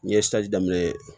N ye daminɛ